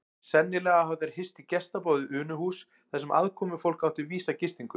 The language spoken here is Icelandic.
Sennilega hafa þeir hist í gestaboði Unuhúss þar sem aðkomufólk átti vísa gistingu.